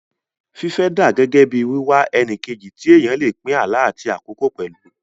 Fífẹ́ dà gẹ́gẹ́ bí wíwá ẹni kejì tí èèyàn lè pín àlá àti àkókò pẹ̀lú